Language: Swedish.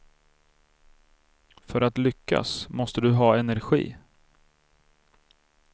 För att lyckas måste du ha energi.